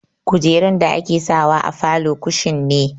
Kujerun da ake sawa a falo kushin ne.